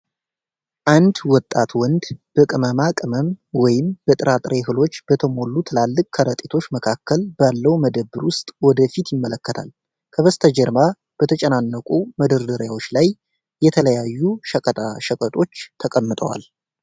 አንድ ወጣት ወንድ በቅመማ ቅመም ወይም በጥራጥሬ እህሎች በተሞሉ ትላልቅ ከረጢቶች መካከል ባለው መደብር ውስጥ ወደ ፊት ይመለከታል። ከበስተጀርባ በተጨናነቁ መደርደሪያዎች ላይ የተለያዩ ሸቀጣ ሸቀጦች ተቀምጠዋል።